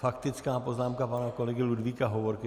Faktická poznámka pana kolegy Ludvíka Hovorky.